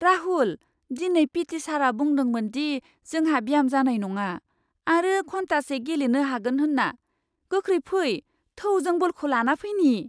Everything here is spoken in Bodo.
राहुल! दिनै पिटि सारआ बुंदोंमोन दि जोंहा ब्याम जानाय नङा आरो घन्टासे गेलेनो हागोन होन्ना! गोख्रै फै, थौ जों बलखौ लाना फैनि!